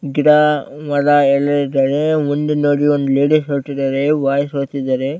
ಗಿಡ ಮರ ಎಲ್ಲ ಇದೆ ಮುಂದೆ ನೋಡಿ ಒಂದು ಲೇಡೀಸ್ ಹೋಗ್ತಿದ್ದಾರೆ ಬಾಯ್ಸ್ ಹೋಗ್ತಿದ್ದಾರೆ .